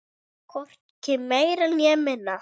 Hvorki meira né minna.